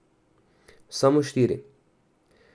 Samo štiri!